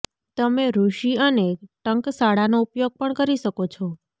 તમે ઋષિ અને ટંકશાળનો ઉપયોગ પણ કરી શકો છો